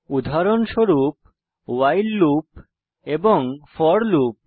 উদাহরণস্বরূপ while loop এবং for loop